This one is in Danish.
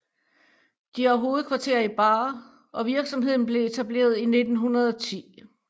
De har hovedkvarter i Baar og virksomheden blev etableret i 1910